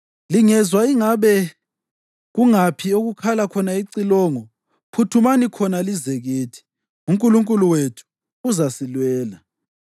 Lingezwa ingabe kungaphi okukhala khona icilongo, phuthumani khona lize kithi. UNkulunkulu wethu uzasilwela!”